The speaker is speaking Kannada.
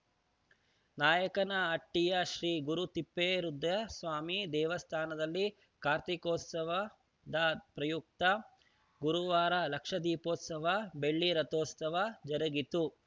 ನಾಯಕನಹಟ್ಟಿಯ ಶ್ರೀಗುರುತಿಪ್ಪೇರುದ್ರಸ್ವಾಮಿ ದೇವಸ್ಥಾನದಲ್ಲಿ ಕಾರ್ತೀಕೋತ್ಸವದ ಪ್ರಯುಕ್ತ ಗುರುವಾರ ಲಕ್ಷದೀಪೋತ್ಸವ ಬೆಳ್ಳಿರಥೋತ್ಸವ ಜರುಗಿತು